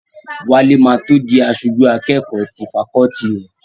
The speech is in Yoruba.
Wálé ma tó di aṣojú akẹ́kọ̀ọ́ ti fakọọti rẹ̀